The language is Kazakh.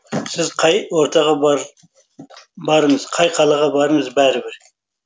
сіз қай ортаға барыңыз қай қалаға барыңыз бәрібір